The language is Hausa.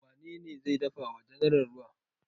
Wane ne zai dafa wa general ruwa?